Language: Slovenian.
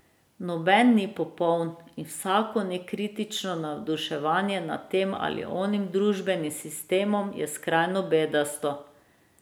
Noben ni popoln in vsako nekritično navduševanje nad tem ali onim družbenim sistemom je skrajno bedasto.